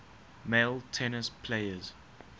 male tennis players